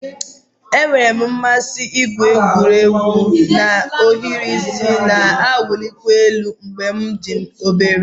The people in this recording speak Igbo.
Enwere m mmasị igwu egwu na ohiri isi na-awụlikwa elu mgbe m dị obere